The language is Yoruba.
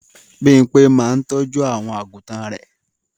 Bímpé máa ń tọ́jú àwọn àgùtàn rẹ̀.